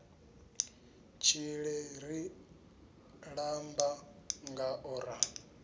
tshile ri ṱamba ngao ra